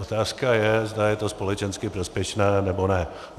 Otázka je, zda je to společensky prospěšné, nebo ne.